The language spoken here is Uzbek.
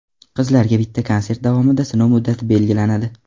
Qizlarga bitta konsert davomida sinov muddati belgilanadi.